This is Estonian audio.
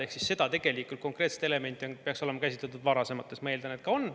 Ehk seda konkreetset elementi peaks olema käsitletud varasemates, ma eeldan, et ka on.